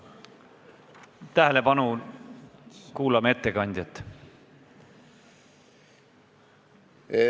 Tähelepanu, kuulame ettekandjat!